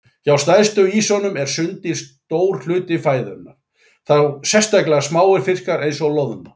Hjá stærstu ýsunum eru sunddýr stór hluti fæðunnar, þá sérstaklega smáir fiskar eins og loðna.